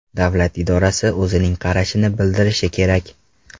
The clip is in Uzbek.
Davlat idorasi o‘zining qarashini bildirishi kerak.